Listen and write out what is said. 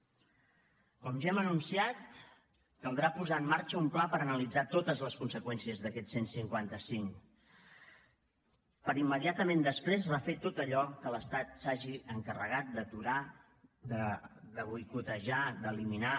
com ja hem anunciat caldrà posar en marxa un pla per analitzar totes les conseqüències d’aquest cent i cinquanta cinc per immediatament després refer tot allò que l’estat s’hagi encarregat d’aturar de boicotejar d’eliminar